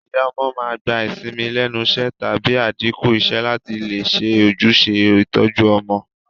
Ìyá ọmọ màá n gba ìsinmi lénusé tàbí àdínkù isé látì lè se ojúse ìtoju ọmọ